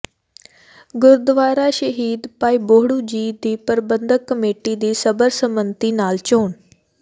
ਗੁਰਦੁਆਰਾ ਸ਼ਹੀਦ ਭਾਈ ਬਹੋੜੂ ਜੀ ਦੀ ਪ੍ਰਬੰਧਕ ਕਮੇਟੀ ਦੀ ਸਰਬਸੰਮਤੀ ਨਾਲ ਚੋਣ